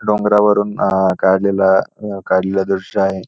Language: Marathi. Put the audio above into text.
डोंगरावरून अ काढलेला काढलेल दृश्य आहे.